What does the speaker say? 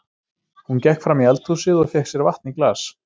Hún gekk fram í eldhúsið og fékk sér vatn í glas.